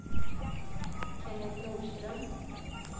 Kennet Norström